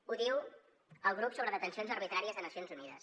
ho diu el grup sobre detencions arbitràries de nacions unides